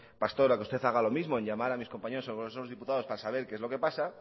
pastor a que usted haga lo mismo en llamar a mis compañeros en el congreso de los diputados para saber qué es lo que pasa